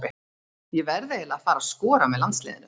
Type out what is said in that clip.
Ég verð eiginlega að fara að skora með landsliðinu.